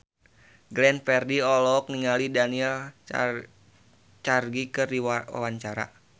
Glenn Fredly olohok ningali Daniel Craig keur diwawancara